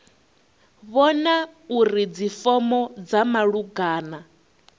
vhona uri dzifomo dza malugana